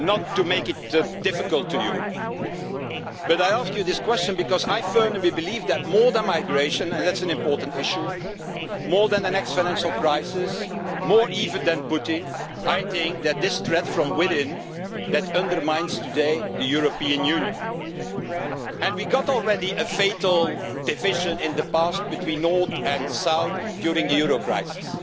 to make it difficult for you, but I ask you this question because I firmly believe that more than migration and that's an important issue more than the next financial crisis, more even than Putin, I think, that this threat from within undermines today the European Union. And we already had a fatal division in the past between north and south during the euro crisis.